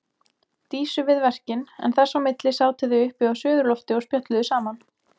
Dísu við verkin en þess á milli sátu þau uppi á suðurlofti og spjölluðu saman.